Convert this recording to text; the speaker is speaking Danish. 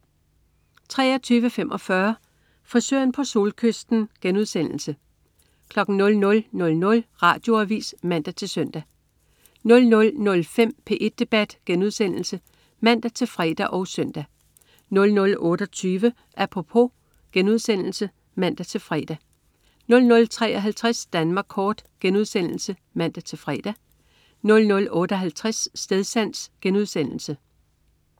23.45 Frisøren på Solkysten* 00.00 Radioavis (man-søn) 00.05 P1 Debat* (man-fre og søn) 00.28 Apropos* (man-fre) 00.53 Danmark kort* (man-fre) 00.58 Stedsans*